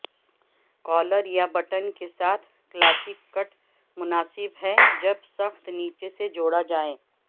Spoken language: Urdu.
کالر یا بٹن کے ساتھ کلاسیکی کٹ مناسب ہے جب سخت نیچے سے جوڑا جائے